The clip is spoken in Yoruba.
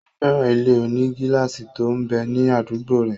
Ó fẹ́ràn ilé-onígílásì tó m bẹ ní àdúgbò rẹ̀